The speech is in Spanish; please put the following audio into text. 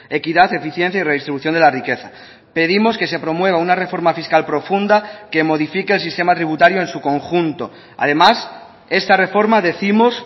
equidad eficiencia y redistribución de la riqueza pedimos que se promueva una reforma fiscal profunda que modifique el sistema tributario en su conjunto además esta reforma décimos